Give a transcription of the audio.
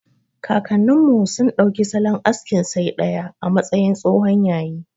Kakannin mu sun ɗauki salon askin saidaya a matsayin tsohon yayi.